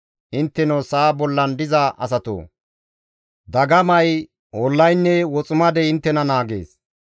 Intteno sa7a bollan diza asatoo, dagamay, ollaynne woximadey inttena naagees.